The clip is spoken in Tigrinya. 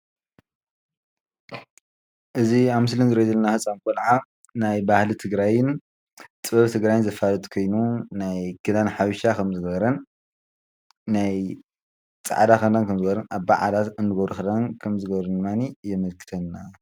እዚ ኣብ ምስሊ ንሪኦ ዘለና ህፃን ቆልዓ ናይ ባህሊ ትግራይን ጥበብ ትግራይን ዘፋልጥ ኮይኑ ናይ ክዳን ሓበሻ ከምዝገበረን ናይ ፃዕዳ ክዳን ከምዝገበረን ድማኒ የመልክትና።